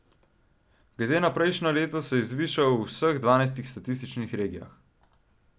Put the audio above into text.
Glede na prejšnje leto se je zvišal v vseh dvanajstih statističnih regijah.